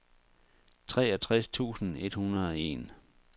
treogtres tusind et hundrede og en